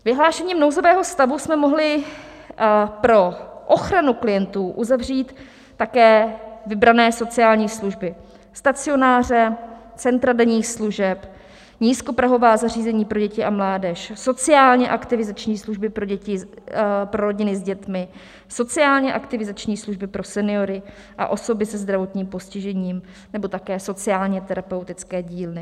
Vyhlášením nouzového stavu jsme mohli pro ochranu klientů uzavřít také vybrané sociální služby: stacionáře, centra denních služeb, nízkoprahová zařízení pro děti a mládež, sociálně aktivizační služby pro rodiny s dětmi, sociálně aktivizační služby pro seniory a osoby se zdravotním postižením nebo také sociálně terapeutické dílny.